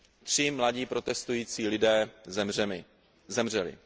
Tři mladí protestující lidé zemřeli.